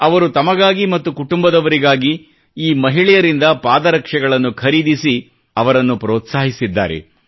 ಅವರು ತಮಗಾಗಿ ಮತ್ತು ಕುಟುಂಬದವರಿಗೆ ಈ ಮಹಿಳೆಯರಿಂದ ಪಾದರಕ್ಷೆಗಳನ್ನು ಖರೀದಿಸಿ ಅವರನ್ನು ಪ್ರೋತ್ಸಾಹಿಸಿದ್ದಾರೆ